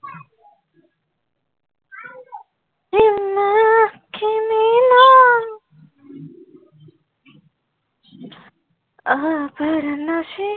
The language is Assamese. অহ বাৰ নাচি